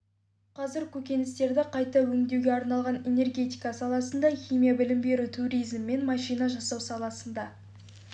қазір көкөністерді қайта өңдеуге арналған энергетика саласында химия білім беру туризм мен машина жасау саласында